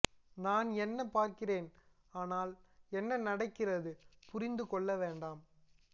நான் என்ன பார்க்கிறேன் ஆனால் என்ன நடக்கிறது புரிந்து கொள்ள வேண்டாம்